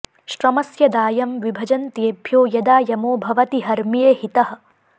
श्रमस्य दायं वि भजन्त्येभ्यो यदा यमो भवति हर्म्ये हितः